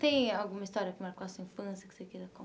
Tem alguma história que marcou a sua infância que você queira